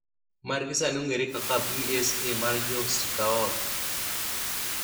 magi sani ong’ere kaka BSA mar Jo Sikaot.